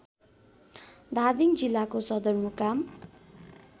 धादिङ जिल्लाको सदरमुकाम